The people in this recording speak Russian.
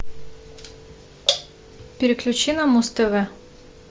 переключи на муз тв